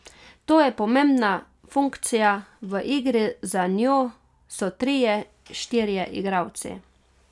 To je pomembna funkcija, v igri za njo so trije, štirje igralci.